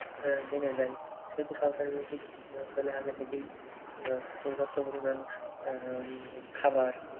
জেনে যায়। সেহেতু সরকারের উচিৎ ওই অঞ্চলে আগে থেকেই উম পর্যাপ্ত পরিমান আহ খাবার